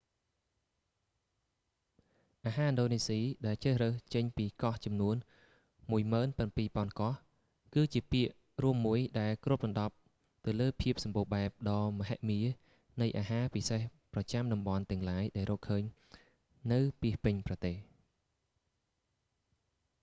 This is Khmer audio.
អាហារឥណ្ឌូនេស៊ី ដែលជ្រើសរើសចេញពីកោះចំនួន17,000កោះ គឺជាពាក្យរួមមួយ ដែលគ្របដណ្តប់ទៅលើភាពសម្បូរបែបដ៏មហិមានៃអាហារពិសេសប្រចាំចាំតំបន់ទាំងឡាយដែលរកឃើញនៅពាសពេញប្រទេស